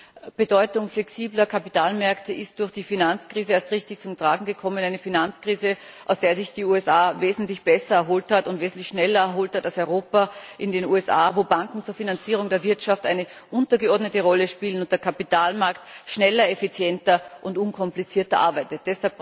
Die Bedeutung flexibler Kapitalmärkte ist durch die Finanzkrise erst richtig zum Tragen gekommen eine Finanzkrise, von der sich die USA wesentlich besser erholt hat und wesentlich schneller erholt hat als Europa in den USA, wo Banken zur Finanzierung der Wirtschaft eine untergeordnete Rolle spielen und der Kapitalmarkt schneller, effizienter und unkomplizierter arbeitet.